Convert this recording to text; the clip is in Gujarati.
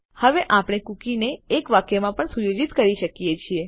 હવે આપણે કુકીને એક વાક્યમાં પણ સુયોજિત કરી શકીએ છીએ